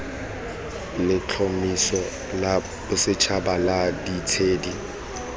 letlhomeso la bosetšhaba la ditshedi